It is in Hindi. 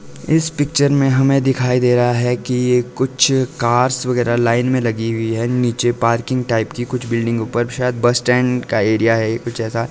इस पिक्चर में हमें दिखाई दे रहा है कि ये कुछ कार्स वगैरह लाइन में लगी हुई है नीचे पार्किंग टाइप की कुछ बिल्डिंग ऊपर शायद बस स्टैंड का एरिया है कुछ ऐसा।